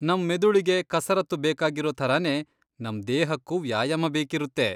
ನಮ್ ಮೆದುಳಿಗೆ ಕಸರತ್ತು ಬೇಕಾಗಿರೋ ಥರಾನೇ, ನಮ್ ದೇಹಕ್ಕೂ ವ್ಯಾಯಾಮ ಬೇಕಿರುತ್ತೆ.